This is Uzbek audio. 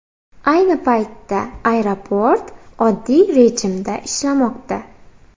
Ayni paytda aeroport oddiy rejimda ishlamoqda.